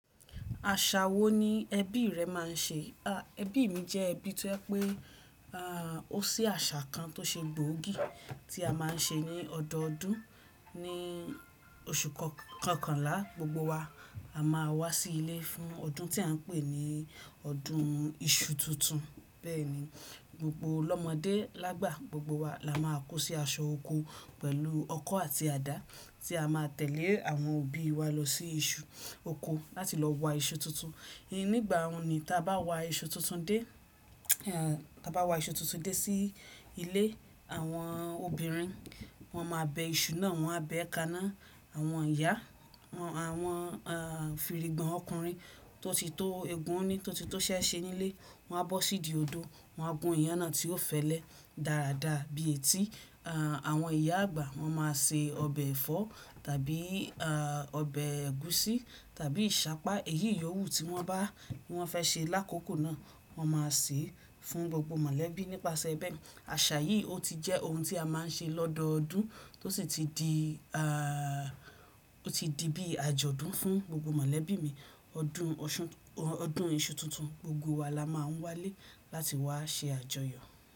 Àṣà wo ni ẹbí rẹ máa ń ṣe? Ẹbí mi jẹ́ ẹbí tí o jẹ́ pé ọ́ ṣe àṣà kan tó ṣe gbòógì tí a máa ń ṣe ní ọdọọdún. Ni oṣù kọkànlá, gbogbo wa a máa wá sí ilé fún ọdún tí à ń pè ní ọdún iṣu tuntun. Bẹ́ẹ̀ ni, gbogbo ọlọ́mọdé, lágbà gbogbo wa la máa kó sí aṣọ oko pẹ̀lú ọkọ́ àti àdá tí a máa tẹ̀lé àwọn òbí wa lọ sí iṣu oko láti lọ wa iṣu tuntun. Nígbà oun ní táa bá wa iṣu tuntun dé, táa bá wa iṣu tuntun dé sí ilé, àwọn obìnrin wọn máa bẹ iṣu náà, wọn á bẹ kaná. Àwọn ìyá àwọn firigbọ̀n ọkùnrin tó ti tó eegun ní, tó ti tó ṣẹ́ ṣe nílé, wọn á bọ́ sí ìdí odò, wọn á gún iyán náà tí ó fẹ́lẹ́, dáradára bíi etí. Àwọn ìyá àgbà wọn máa se ọbẹ̀ ẹ̀fọ́ tàbí ọbẹ̀ ẹ̀gúsí tàbí ìṣápá. Èyí ìyọ̀wú tí wọ́n bá, wọ́n fẹ́ ṣe lákòókò náà, wọn máa ṣe é fún gbogbo mọ̀lẹ́bí. Nípasẹ̀ bẹ́ẹ̀, àṣà yìí ọ ti jẹ́ ohun tí a máa ń ṣe lọ́dọọdún tó sì ti di, o ti di bí àjọ̀dún fún gbogbo mọ̀lẹ́bí mi. Ọdún iṣu tuntun, gbogbo wa la máa ń wálé láti wá ṣe àjọyọ̀.